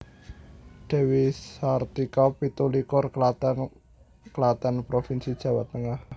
Dewi Sartika pitu likur Klaten Klaten provinsi Jawa Tengah